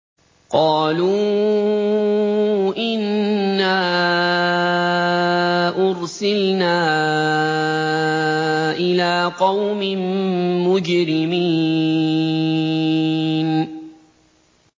قَالُوا إِنَّا أُرْسِلْنَا إِلَىٰ قَوْمٍ مُّجْرِمِينَ